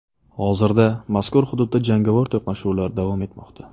Hozirda mazkur hududda jangovar to‘qnashuvlar davom etmoqda.